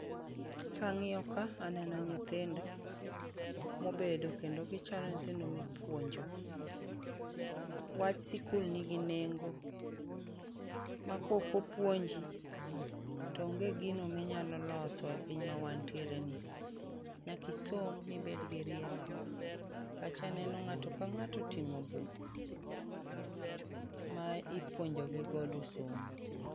Kang'io ka aneno nyithindo mobedo kendo gichalo nyithindo mipuonjo. Wach sikul nigi nengo, ma kokopuonji to onge gino minyalo loso e piny mawantiereni. Nyakisom mibed gi rieko. Kacha neno ng'ato ka ng'ato oting'o buk ma ipuonjogi godo somo.